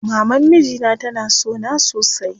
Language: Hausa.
Maman mijina tana sona sosai.